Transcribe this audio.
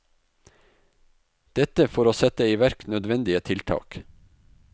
Dette for å sette i verk nødvendige tiltak.